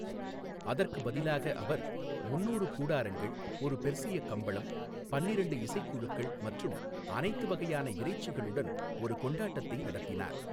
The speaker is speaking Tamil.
அதற்கு பதிலாக அவர் முந்நூறு கூடாரங்கள், ஒரு பெர்சிய கம்பளம், பன்னிரெண்டு இசைக்குழுக்கள் மற்றும் அனைத்து வகையான இறைச்சிகளுடன் ஒரு கொண்டாட்டத்தை நடத்தினார்.